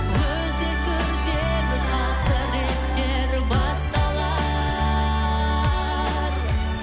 өзекті өртер қасіреттер басталар